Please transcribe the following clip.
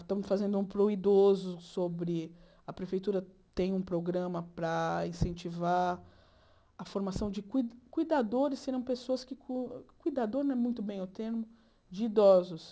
Estamos fazendo um para o idoso sobre... A prefeitura tem um programa para incentivar a formação de cui cuidadores, que serão pessoas que... Cui cuidador não é muito bem o termo, de idosos.